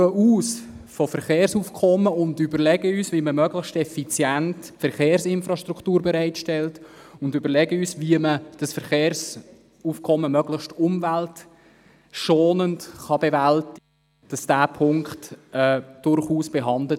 Wir gehen von Verkehrsaufkommen aus und überlegen uns, wie man Verkehrsinfrastruktur möglichst effizient bereitstellt und dieses Verkehrsaufkommen möglichst umweltschonend bewältigen kann.